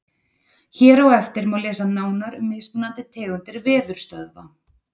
Hér á eftir má lesa nánar um mismunandi tegundir veðurstöðva.